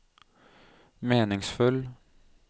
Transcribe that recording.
meningsfull